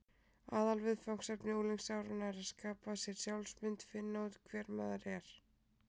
Aðalviðfangsefni unglingsáranna er að skapa sér sjálfsmynd: finna út hver maður er.